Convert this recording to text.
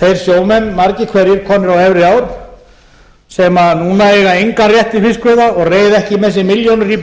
þeir sjómenn margir hverjir komnir á efri ár sem núna eiga engan rétt til fiskveiða og reiða ekki með sér milljónir í